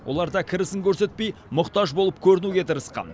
олар да кірісін көрсетпей мұқтаж болып көрінуге тырысқан